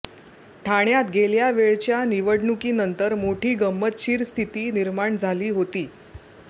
ठाण्यात गेल्या वेळच्या निवडणुकीनंतर मोठी गंमतशीर स्थिती निर्माण झाली होती